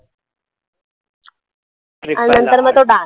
आणि नंतर मग तो dance